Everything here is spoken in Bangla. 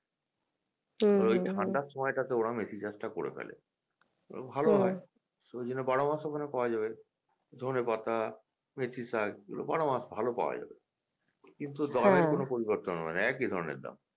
হুম ঐ ঠাণ্ডার সময়টাতে ওরা মেথিশাঁকটা করে ফেলে ভালো হয় এইজন্য বারোমাস ওখানে পাওয়া যাবে ধনেপাতা মেথিশাঁক এগুলো বারোমাস ভালো পাওয়া যাবে কিন্তু দামের কোনও পরিবর্তন হবেনা একই ধরণের দাম